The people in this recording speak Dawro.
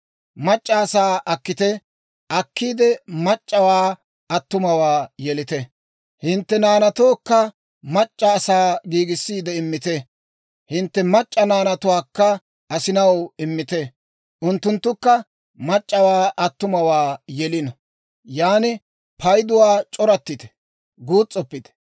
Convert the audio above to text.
Mac'c'a asaa akkite; akkiide mac'c'awaa attumawaa yelite. Hintte naanatookka mac'c'a asaa giigissiide immite; hintte mac'c'a naanatuwaakka asinaw immite. Unttunttukka mac'c'awaa attumawaa yelino. Yaan payduwaa c'orattite; guus's'oppite.